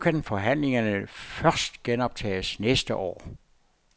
Men nu kan forhandlingerne først genoptages næste år.